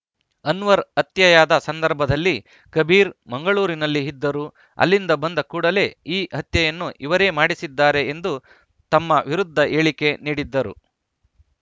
ಅನ್ವರ್‌ ಹತ್ಯೆಯಾದ ಸಂದರ್ಭದಲ್ಲಿ ಕಬೀರ್‌ ಮಂಗಳೂರಿನಲ್ಲಿ ಇದ್ದರು ಅಲ್ಲಿಂದ ಬಂದ ಕೂಡಲೇ ಈ ಹತ್ಯೆಯನ್ನು ಇವರೇ ಮಾಡಿಸಿದ್ದಾರೆ ಎಂದು ತಮ್ಮ ವಿರುದ್ಧ ಹೇಳಿಕೆ ನೀಡಿದ್ದರು